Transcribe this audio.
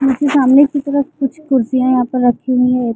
घर की सामने की तरफ कुछ खुर्चिया यहाँ पे रखी हुवी है।